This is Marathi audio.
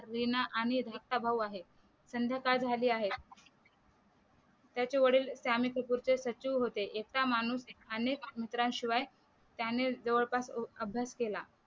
रीना आणि धाकटा भाऊ आहे संध्याकाळ झाली आहे त्याचे वडील त्यामी कपूर चे सचिव होते एकटा माणूस अनेक मंत्र्यांशिवाय त्याने जवळपास खुप अभ्यास केला